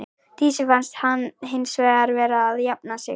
Dísu fannst hann hins vegar vera að jafna sig.